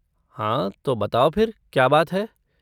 हाँ, तो बताओ फिर क्या बात है?